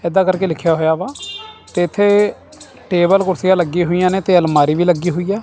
ਇਦਾਂ ਕਰਕੇ ਲਿਖਿਆ ਹੋਇਆ ਵਾ ਤੇ ਇਥੇ ਟੇਬਲ ਕੁਰਸੀਆਂ ਲੱਗੀ ਹੋਈਆਂ ਨੇ ਤੇ ਅਲਮਾਰੀ ਵੀ ਲੱਗੀ ਹੋਈ ਹੈ।